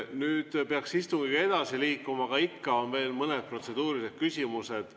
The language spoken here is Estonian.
Nüüd peaks istungiga edasi liikuma, aga ikka on veel mõned protseduurilised küsimused.